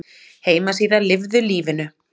Heimasíða Lifðu lífinu